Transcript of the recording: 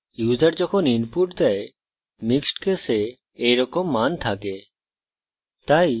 প্রায়ই users যখন input দেয় mixed case এইরকম মান থাকে